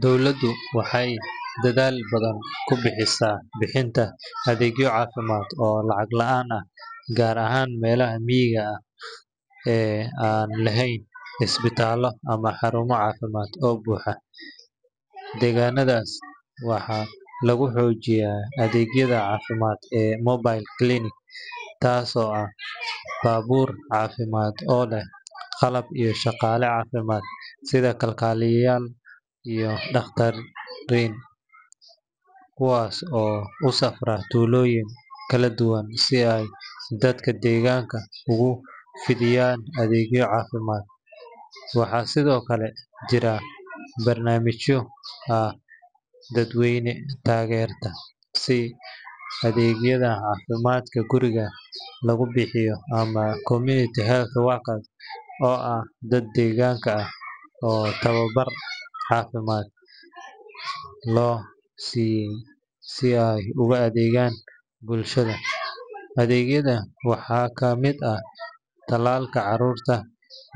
Dowladdu waxay dadaal badan ku bixisaa bixinta adeegyo caafimaad oo lacag la’aan ah gaar ahaan meelaha miyiga ah ee aan lahayn isbitaallo ama xarumo caafimaad oo buuxa. Deegaanadaas, waxaa lagu xoojiyaa adeegyada caafimaad ee mobile clinics, taasoo ah baabuur caafimaad oo leh qalab iyo shaqaale caafimaad sida kalkaaliyayaal iyo dhakhaatiir, kuwaas oo u safra tuulooyin kala duwan si ay dadka deegaanka ugu fidiyaan adeegyo caafimaad. Waxaa sidoo kale jira barnaamijyo ay dowladdu taageerto sida adeegyada caafimaadka guriga lagu bixiyo ama community health workers oo ah dad deegaanka ah oo tababar caafimaad loo siiyay si ay ugu adeegaaan bulshada. Adeegyadan waxaa ka mid ah tallaalka carruurta,